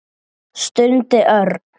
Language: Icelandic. stundi Örn.